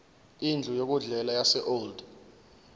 indlu yokudlela yaseold